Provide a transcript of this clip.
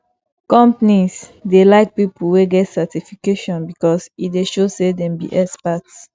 companies dey like people wey get certification because e dey show say dem be experts